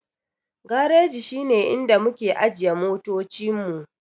Gareji shi ne inda muke ajiye motoci mu.